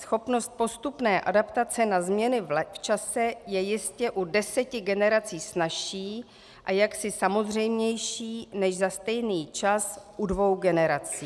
Schopnost postupné adaptace na změny v čase je jistě u deseti generací snazší a jaksi samozřejmější než za stejný čas u dvou generací.